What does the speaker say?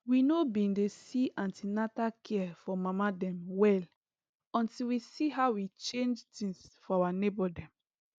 we no been dey see an ten atal care for mama dem well until we see how e change things for our neighbor dem